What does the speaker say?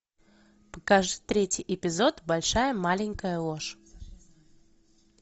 покажи третий эпизод большая маленькая ложь